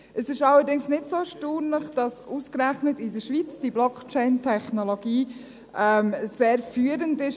Es ist allerdings nicht so erstaunlich, dass ausgerechnet in der Schweiz diese Blockchain-Technologie sehr führend ist.